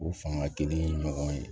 O fanga kelen ɲɔgɔn ye